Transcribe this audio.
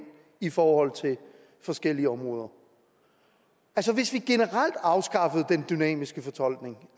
i forhold til forskellige områder hvis vi generelt afskaffede den dynamiske fortolkning